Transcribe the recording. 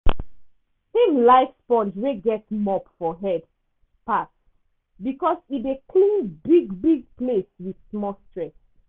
him like sponge wey get mop for head pass because e dey clean big-big place with small stress.